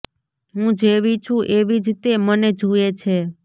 હું જેવી છું એવી જ તે મને જુએ છે